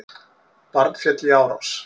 Barn féll í árás